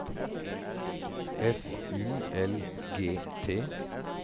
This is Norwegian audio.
F U L G T